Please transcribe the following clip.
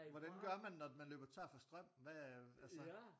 Hvordan gør man når man løber tør for strøm hvad altså